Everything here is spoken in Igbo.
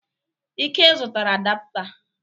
Ike zụtara adapụta.